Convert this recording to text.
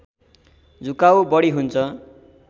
झुकाउ बढी हुन्छ